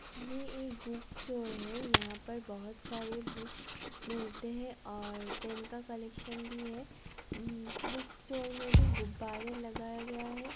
ये एक book store है। यहाँ पर बहुत सारे बुक मिलते हैं और पेन का कलेक्सन भी है। बुक स्टोर में भी गुब्बारे लगाया गया है।